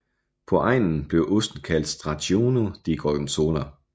På egnen blev osten kaldt Stracchino di Gorgonzola